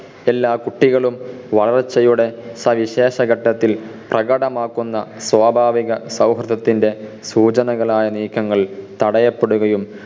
എല്ലാ കുട്ടികളും വളർച്ചയുടെ സവിശേഷ ഘട്ടത്തിൽ പ്രകടമാക്കുന്ന സ്വാഭാവിക സൗഹൃദത്തിൻ്റെ സൂചനകളായ നീക്കങ്ങൾ തടയപ്പെടുകയും